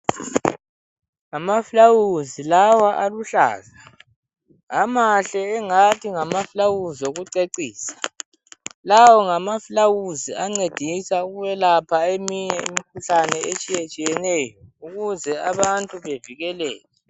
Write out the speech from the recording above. Ngamaflawuzi lawa aluhlaza. Amahle engathi ngamafulawuzi okucecisa. Lawo ngamafulawuzi ancedisa ukwelapha eminye imikhuhlane etshiyetshiyeneyo ukuze abantu bavikeleke.